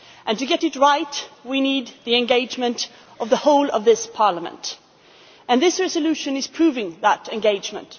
To get it right, we need the engagement of the whole of this Parliament, and this resolution is proving that engagement.